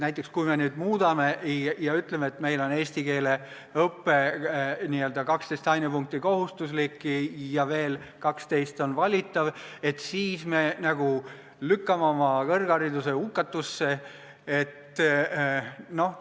Näiteks kui me nüüd õppekava muudame ja ütleme, et meil on eesti keele õpe n-ö 12 ainepunkti ulatuses kohustuslik ja veel 12 punkti ulatuses valitav, siis me nagu lükkame oma kõrghariduse hukatusse.